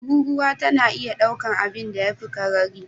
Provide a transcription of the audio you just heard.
Tururuwa tana iya daukar abinda ya fi karari